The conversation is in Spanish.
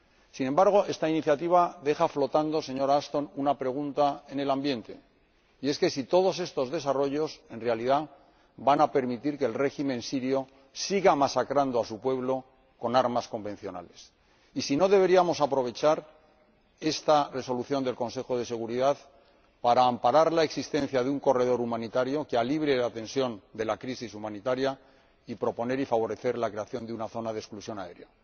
Sin embargo, esta iniciativa deja flotando, señora Ashton, una pregunta en el ambiente, y es que si todos estos desarrollos en realidad van a permitir que el régimen sirio siga masacrando a su pueblo con armas convencionales, y si no deberíamos aprovechar esta resolución del Consejo de Seguridad para amparar la existencia de un corredor humanitario que alivie la tensión de la crisis humanitaria y proponer y favorecer la creación de una zona de exclusión aérea.